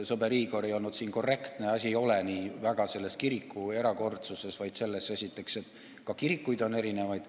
Sõber Igor ei olnud siin korrektne, asi ei ole nii väga kiriku erakordsuses, vaid selles, et ka kirikuid on erinevaid.